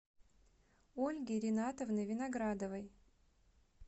ольги ринатовны виноградовой